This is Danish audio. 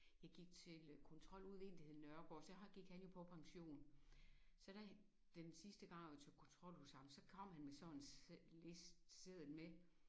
Jeg til øh kontrol ude ved en der hed Nørregård så har så gik han jo på pension så der den sidste gang jeg var til kontrol ude hos ham så kom han ved sådan en seddel liste seddel med